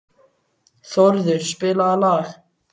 Þórður, spilaðu lag.